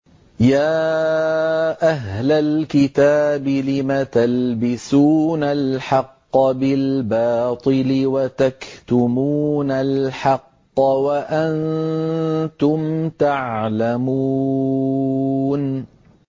يَا أَهْلَ الْكِتَابِ لِمَ تَلْبِسُونَ الْحَقَّ بِالْبَاطِلِ وَتَكْتُمُونَ الْحَقَّ وَأَنتُمْ تَعْلَمُونَ